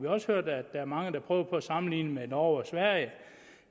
også hørt at der er mange der prøver på at sammenligne med norge og sverige